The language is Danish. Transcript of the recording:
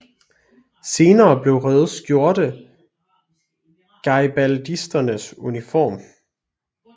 Senere blev røde skjorte garibaldisternes uniform